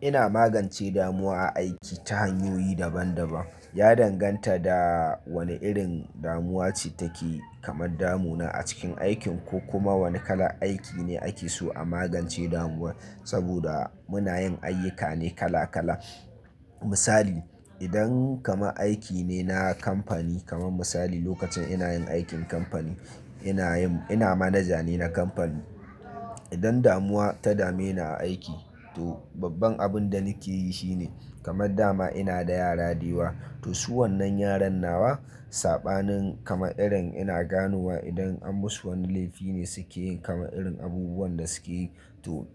Ina magance damuwa a aiki ta hanyoyi daban-daban. Ya danganta da wane irin damuwa ce take kamar damu na a cikin aikin ko kuma wane kalan aiki ne ake so a magance damuwar. Saboda muna yin ayyuka ne kala kala. Misali, idan kamar aiki ne na kamfani kamar misali lokacin ina yin aikin kamfani ina ina manaja ne na kamfani. Idan damuwa ta dame ni a aiki to babban abin da nake yi shine kamar dama ina da yara da yawa to su wannan yaran nawa sabanin kama irin ina ganowa idan an musu wani laifi ne suke yin kama irin abubuwan da suke yi to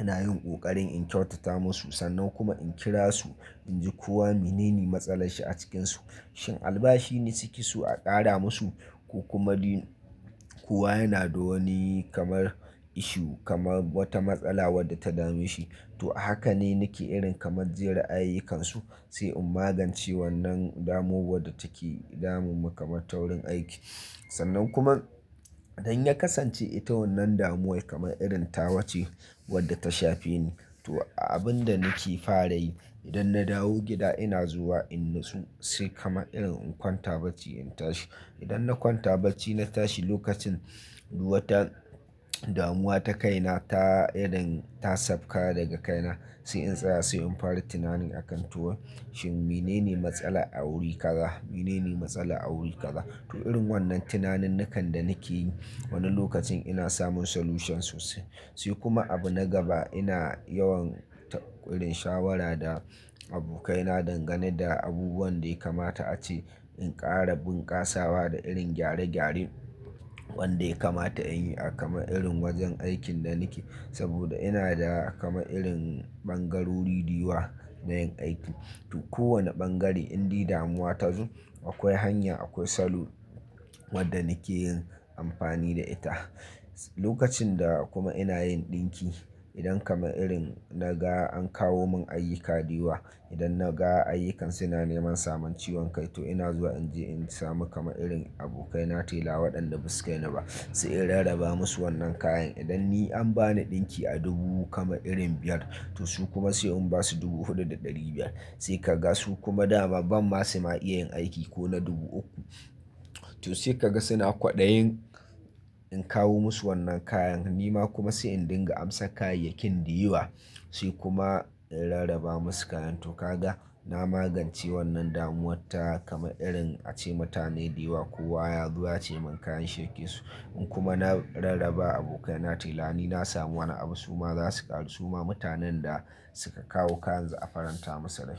ina yin ƙoƙarin in kyautata musu sannan kuma in kira su in ji kowa menene matsalar shi a cikinsu. Shin albashi ne suke so a ƙara musu ko kuma dai kowa yana da wani kamar issue kamar wata matsala wadda ta dame shi. To a haka ne nake irin kamar jin ra'ayukansu sai in magance wannan damuwa wadda take damun mu kamar ta wurin aiki. Sannan kuma idan ya kasance ita wannan damuwar kamar irin tawa ce wadda ta shafe ni to abin da nake fara yi idan na dawo gida ina zuwa in na tsu sai kamar irin in kwanta barci in tashi. Idan na kwanta barci na tashi lokacin wata damuwa ta kai na ta irin ta sauka daga kai na sai in tsaya sai in fara tunani akan to shin menene matsala a wuri kaza? Menene matsala a wuri kaza? To irin wannan tunaninnukan da nake yi wani lokacin ina samun solution sosai. Sai kuma abu na gaba ina yawaita irin shawara da abokai na dangane da abubuwan da ya kamata a ci in ƙara bunƙasawa da irin gyare gyaren wanda ya kamata in yi a kamar irin wajen aikin da nake. Saboda ina da kamar irin ɓangarori da yawa na yin aiki. To kowane ɓangare in dai damuwa ta zo akwai hanya akwai salo wadda nake yin amfani da ita. Lokacin da kuma ina yin ɗinki idan kamar irin na ga an kawo mun ayyuka da yawa idan na ga ayyukan su na neman samun ciwon kai to ina zuwa in je in samu kamaririn abokai na tela waɗanda basu kai ni ba sai in rarraba musu wannan kayan. Idan ni an ba ni ɗinki a dubu kama irin biyar to su kuma sai in basu dubu huɗu da ɗari biyar sai ka ga su kuma dama ba masu ma iya yin aiki ko na dubu uku. To sai ka ga suna kwaɗayin in kawo musu wannan kayan nima kuma sai in dinga amsa kayayyakin da yewa sai kuma in rarraba musu kayan. To ka ga na magance wannan damuwar ta kamar irin ace mutane da yawa kowa ya zo ya ce mun kayan shi yake so in kuma na rarrabawa abokai na tela ni na samu wani abu su ma za su ƙaru su ma mutanen da suka kawo kayan za'a faranta musu rai.